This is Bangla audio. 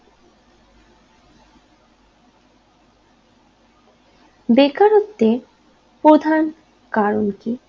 বেকারত্বের প্রধান কারণ কি